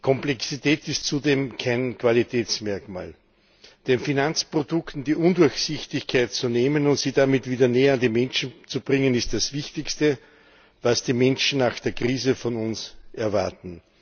Komplexität ist zudem kein Qualitätsmerkmal. Den Finanzprodukten die Undurchsichtigkeit zu nehmen und sie damit wieder näher an die Menschen zu bringen, ist das Wichtigste, was die Menschen nach der Krise von uns erwarten.